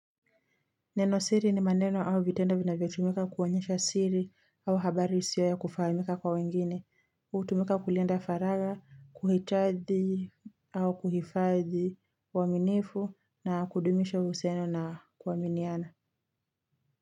Neno siri ni maneno au vitendo vinavyotumika kuonyesha siri au habari isio ya kufahamika kwa wengine, hutumika kulinda faragha, kuhitaji au kuhifadhi uaminifu na kudumisha uhusiano na kuaminiana.